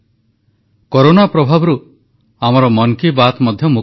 corona ବିରୋଧରେ ସଫଳତା ଦେଶବାସୀଙ୍କ ସାମୁହିକ ସଂକଳ୍ପଶକ୍ତିର ପରିଣାମ ନରେନ୍ଦ୍ର ମୋଦୀ